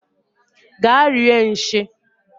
Gaa rie nshi!